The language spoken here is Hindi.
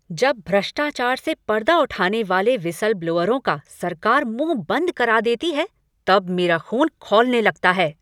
जब भ्रष्टाचार से पर्दा उठाने वाले व्हिसल ब्लोअरों का सरकार मुंह बंद करा देती है तब मेरा ख़ून खौलने लगता है।